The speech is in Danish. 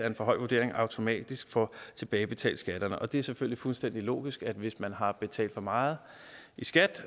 en for høj vurdering automatisk får tilbagebetalt skatten og det er selvfølgelig fuldstændig logisk at man hvis man har betalt for meget i skat